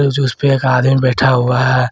जो उसपे एक आदमी बैठा हुआ है।